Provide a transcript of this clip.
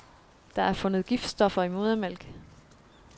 Der er fundet giftstoffer i modermælk.